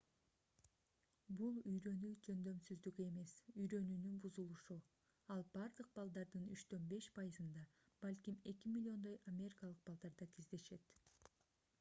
бул үйрөнүү жөндөмсүздүгү эмес үйрөнүүнүн бузулушу ал бардык балдардын 3-5 пайызында балким 2 миллиондой америкалык балдарда кездешет